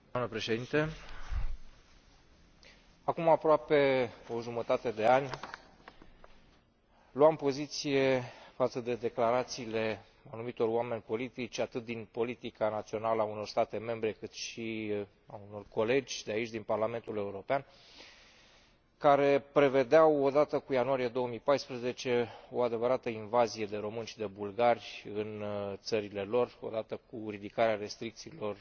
Mulțumesc, doamnă președinte. Acum aproape o jumătate de an luam poziție față de declarațiile anumitor oameni politici atât din politica națională a unor state membre, cât și ale unor colegi de aici, din Parlamentul European, care prevedeau, odată cu ianuarie 2014, o adevărată invazie de români și de bulgari în țările lor, odată cu ridicarea restricțiilor